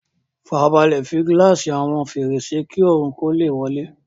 Fara balẹ̀ fi gíláàsì àwọn fèrèsé kí oòrùn lè wọlé